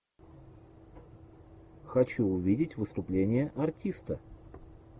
хочу увидеть выступление артиста